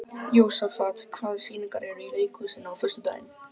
Jósafat, hvaða sýningar eru í leikhúsinu á föstudaginn?